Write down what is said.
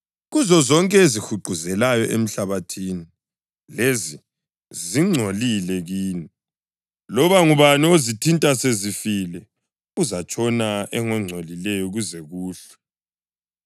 Kuzozonke ezihuquzelayo emhlabathini, lezi zingcolile kini. Loba ngubani ozithinta sezifile uzatshona engongcolileyo kuze kuhlwe.